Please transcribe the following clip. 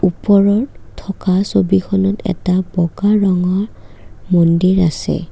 ওপৰত থকা ছবিখনত এটা বগা ৰঙৰ মন্দিৰ আছে।